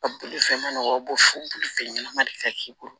Bolifɛn ma nɔgɔn u b'o fɔ bolifɛn ɲɛnama de ka k'i bolo